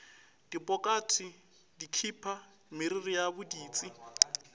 dipokate dikhipa meriri ya boditsi